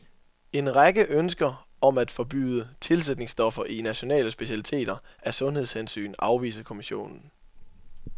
En række ønsker om at forbyde tilsætningsstoffer i nationale specialiteter af sundhedshensyn afviser kommissionen.